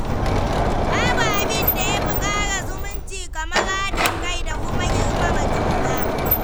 Babu abin da ya fi ƙara zumunci kamar haɗin kai da kuma girmama juna.